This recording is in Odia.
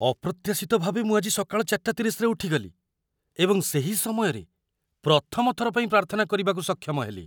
ଅପ୍ରତ୍ୟାଶିତ ଭାବେ ମୁଁ ଆଜି ସକାଳ ୪.୩୦ରେ ଉଠିଗଲି ଏବଂ ସେହି ସମୟରେ ପ୍ରଥମ ଥର ପାଇଁ ପ୍ରାର୍ଥନା କରିବାକୁ ସକ୍ଷମ ହେଲି।